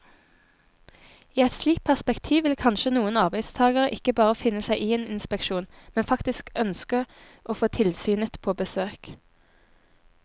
I et slikt perspektiv vil kanskje noen arbeidstagere ikke bare finne seg i en inspeksjon, men faktisk ønske å få tilsynet på besøk.